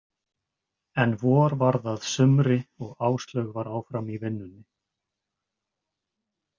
En vor varð að sumri og Áslaug var áfram í vinnunni.